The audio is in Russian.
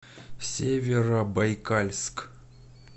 северобайкальск